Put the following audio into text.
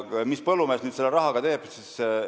Mis põllumees nüüd selle rahaga teeb?